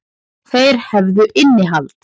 Þeir hefðu innihald.